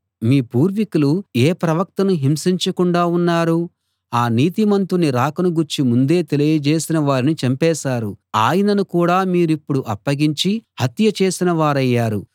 మీ పూర్వీకులు ఏ ప్రవక్తను హింసించకుండా ఉన్నారు ఆ నీతిమంతుని రాకను గూర్చి ముందే తెలియజేసిన వారిని చంపేశారు ఆయనను కూడా మీరిప్పుడు అప్పగించి హత్య చేసిన వారయ్యారు